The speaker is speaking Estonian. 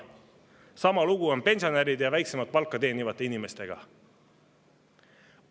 Sama lugu on pensionäride ja väiksemat palka teenivate inimestega.